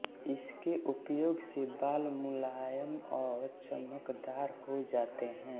इसके उपयोग से बाल मुलायम और चमकदार हो जाते हैं